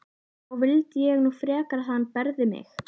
Þá vildi ég nú frekar að hann berði mig.